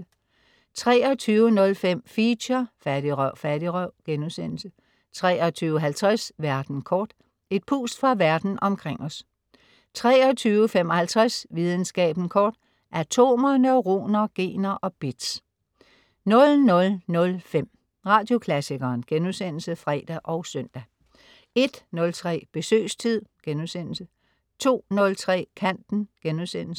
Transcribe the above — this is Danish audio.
23.05 Feature: Fattigrøv Fattigrøv!* 23.50 Verden kort. Et pust fra Verden omkring os 23.55 Videnskaben kort. Atomer, neuroner, gener og bits 00.05 Radioklassikeren* (fre og søn) 01.03 Besøgstid* 02.03 Kanten*